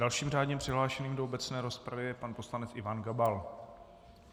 Dalším řádně přihlášeným do obecné rozpravy je pan poslanec Ivan Gabal.